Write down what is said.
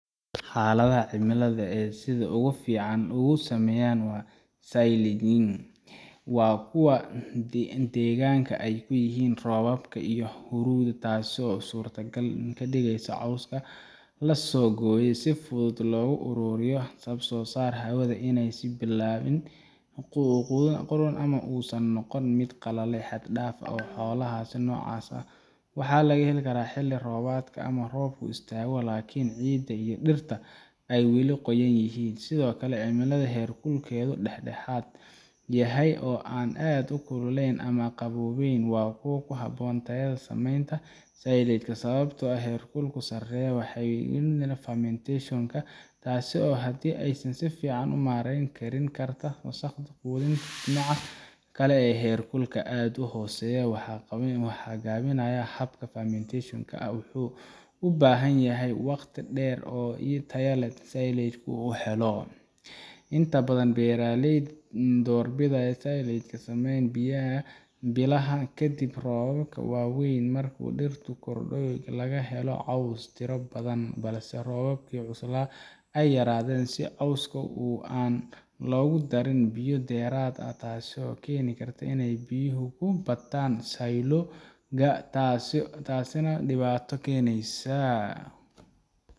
xaaladaha cimilada ee ay sida ugu fiican ugu sameeyaan silaging waa kuwa deggan oo ay ku yar yihiin roobka iyo huurada taasoo suurto gal ka dhigaysa in cawska la soo gooyay si fudud loogu ururiyo lagana saaro hawada si aanay u bilaabin qudhun ama uusan u noqon mid qalalay xad dhaaf ah xaaladaha noocaas ah waxaa la helaa xilli roobaadka marka roobku istaago laakiin ciidda iyo dhirta ay weli qoyan yihiin sidoo kale cimilo heerkulkeedu dhexdhexaad yahay oo aan aad u kululayn ama u qaboobayn waa ku habboon tahay samaynta silage sababtoo ah heerkul sarreeya wuxuu dedejiyaa fermentation ka taas oo haddii aysan si fiican loo maareyn keeni karta wasakhda quudinta dhinaca kale heerkul aad u hooseeya wuxuu gaabiyaa habka fermentation ka wuxuuna u baahan yahay waqti dheer si tayada silage ka loo helo inta badan beeraleyda waxay doorbidaan inay silage sameeyaan bilaha kadib roobabkii waaweynaa marka dhirtu korodhay oo laga helo caws tiro badan balse roobabkii cuslaa ay yaraadeen si cawska aan loogu darin biyo dheeraad ah taasoo keeni karta inay biyuhu ku bataan silo ga taasina waa dhibaato keenaysa